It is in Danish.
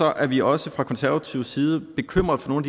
er vi også fra konservativ side bekymret for nogle